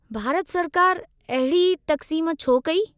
भारत सरकार अहिड़ी तक़्सीमु छो कई?